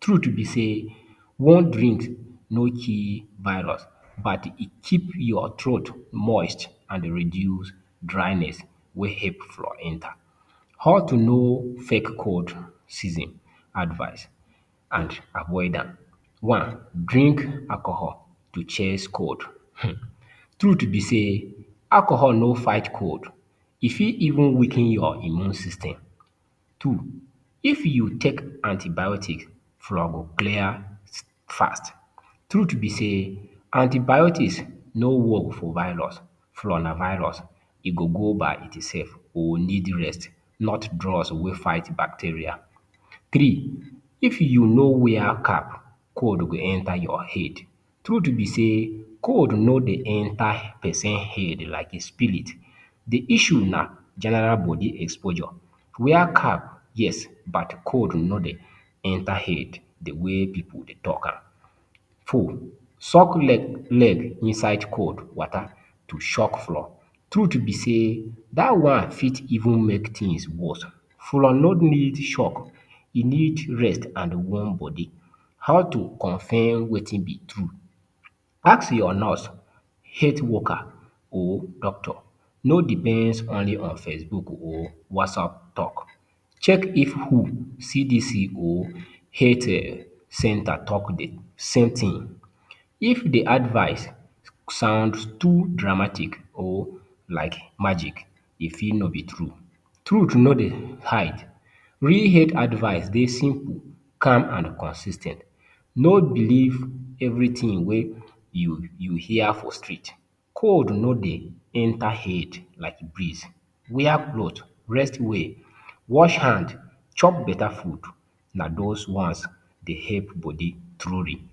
Truth be say, warm drink no kill virus but it keep your throat moist and reduce dryness wey help flu enter. How to know fake cold season advice and avoid am One, “drink alcohol to chase cold.” um Truth be say, alcohol no fight cold. E fit even weaken your immune system. Two, “if you take antibiotics, flu go clear fast.” Truth be say, antibiotics no work for virus. Flu na virus, e go go by itself or need rest, not drugs wey dey fight bacteria. Three, “if you no wear cap, cold go enter your head.” Truth be say, cold no dey enter pesin head like spirit. The issue na general body exposure. Wear cap, yes, but cold no dey enter head the way pipu dey talk am. Four, “soak leg inside cold water to shock flu.” Truth be say, dat one even fit make things worse. Flu no need shock, e need rest and warm body. How to confirm wetin be true Ask your nurse, health worker or doctor. No depends only on facebook or WhatsApp talk. Check if WHO, CDC or health center talk the same thing. If the advice sounds too dramatic or like magic, e fit no be true. Truth no dey hide. Real health advice dey simple, calm and consis ten t. No believe everything wey you hear for street. Cold no dey enter head like breeze. Wear cloth, rest well, wash hand, chop beta food, na those ones dey help body truly.